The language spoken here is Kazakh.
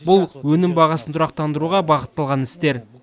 бұл өнім бағасын тұрақтандыруға бағытталған істер